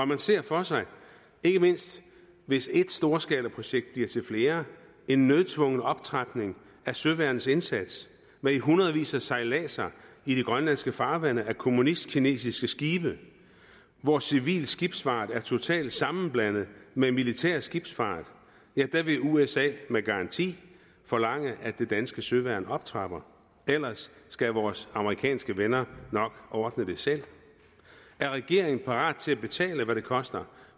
man ser for sig ikke mindst hvis ét storskalaprojekt bliver til flere en nødtvungen optrapningen af søværnets indsats med i hundredvis af sejladser i de grønlandske farvande af kommunistkinesiske skibe hvor civil skibsfart er totalt sammenblandet med militær skibsfart vil usa med garanti forlange at det danske søværn optrapper ellers skal vores amerikanske venner nok ordne det selv er regeringen parat til at betale hvad det koster